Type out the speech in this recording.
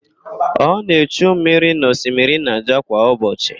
Ọ na-echu mmiri n'osimiri Naịja kwa ụbọchị.